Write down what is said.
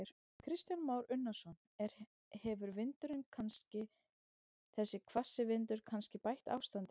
Kristján Már Unnarsson: Er, hefur vindurinn kannski, þessi hvassi vindur kannski bætt ástandið?